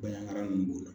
Bayanikalan b'o la